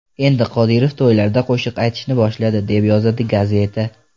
Endi Qodirov to‘ylarda qo‘shiq aytishni boshladi”, deb yozadi gazeta.